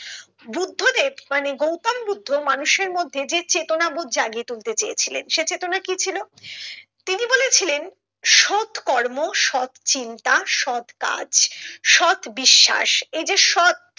বুদ্ধ দেব মানে গৌতম বুদ্ধ মানুষের মধ্যে যে চেতনা বোধ জাগিয়ে তুলতে চেয়েছিলেন সে চেতনা কি ছিল তিনি বলেছিলেন সৎ কর্ম সৎ চিন্তা সৎ কাজ সৎ বিশ্বাস এই যে সৎ